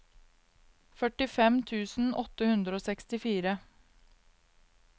førtifem tusen åtte hundre og sekstifire